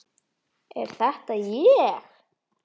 Er þetta ég!?